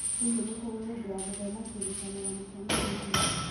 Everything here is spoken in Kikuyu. Hihi nĩ kũrĩ mũndũ wa gũthoma kĩrĩkanĩro mũcemanio-inĩ.